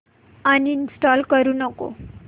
uninstall करू नको